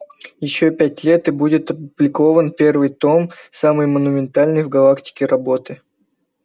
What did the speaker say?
ещё пять лет и будет опубликован первый том самой монументальной в галактике работы